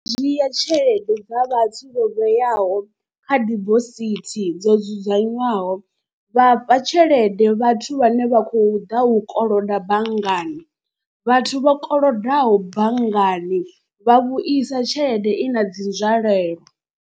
Dzhia tshelede dza vhathu vho vheaho kha dibosithi dzo dzudzanywaho vha fha tshelede vhathu vhane vha khou ḓa u koloda banngani. Vhathu vho kolodaho banngani vha vhuisa tshelede i na dzi nzwalelo.